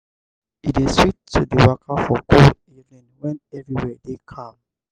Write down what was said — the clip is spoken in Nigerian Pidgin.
e dey sweet to dey waka for cool evening wen everywhere dey calm.